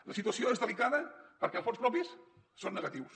la situació és delicada perquè els fons propis són negatius